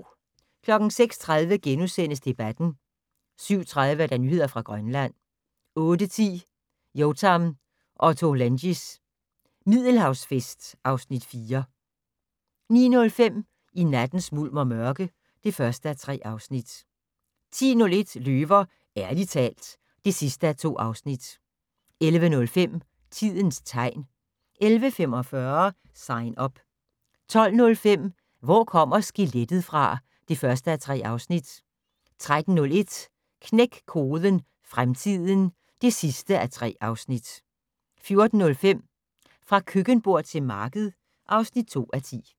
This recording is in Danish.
06:30: Debatten * 07:30: Nyheder fra Grønland 08:10: Yotam Ottolenghis Middelhavsfest (Afs. 4) 09:05: I nattens mulm og mørke (1:3) 10:01: Løver - ærligt talt (2:2) 11:05: Tidens tegn 11:45: Sign Up 12:05: Hvor kommer skelettet fra? (1:3) 13:01: Knæk koden - fremtiden (3:3) 14:05: Fra køkkenbord til marked (2:10)